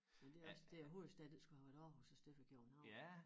Men det også det æ hovedstad den skulle have været Aarhus i stedet for København